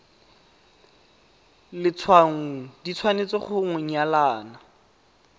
letshwaong di tshwanetse go nyalana